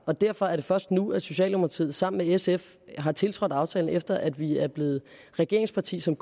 og derfor er det først nu at socialdemokratiet sammen med sf har tiltrådt aftalen efter at vi er blevet regeringsparti som